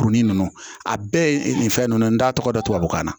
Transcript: Kurunin ninnu a bɛɛ ye nin fɛn ninnu t'a tɔgɔ dɔn tubabukan na